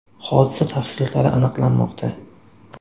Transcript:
Hodisa tafsilotlari aniqlanmoqda.